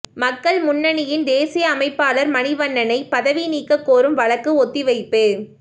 மக்கள் முன்னணியின் தேசிய அமைப்பாளர் மணிவண்ணனை பதவி நீக்கக் கோரும் வழக்கு ஒத்திவைப்பு